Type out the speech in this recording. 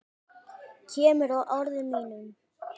Kemur að orðum mínum.